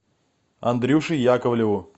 андрюше яковлеву